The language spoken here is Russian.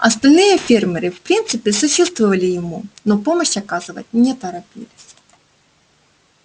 остальные фермеры в принципе сочувствовали ему но помощь оказывать не торопились